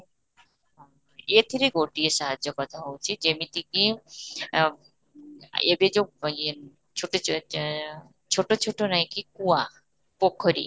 ହଁ, ଏଥିରେ ଗୋଟିଏ ସାହାଯ୍ୟ କଥା ହଉଛି ଯେମିତି କି ଆଁ ଏବେ ଯଉ ୟେ ଛୋଟ ଆଁ ଛୋଟ ଛୋଟ ନାଇଁ କି କୂଆ ପୋଖରୀ